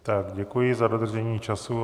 Tak děkuji za dodržení času.